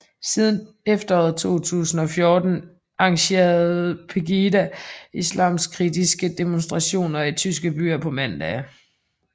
Siden efteråret 2014 arrangerer Pegida islamkritiske demonstrationer i tyske byer på mandage